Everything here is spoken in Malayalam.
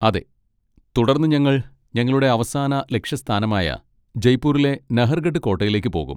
അതെ. തുടർന്ന് ഞങ്ങൾ ഞങ്ങളുടെ അവസാന ലക്ഷ്യസ്ഥാനമായ ജയ്പൂരിലെ നഹർഗഡ് കോട്ടയിലേക്ക് പോകും.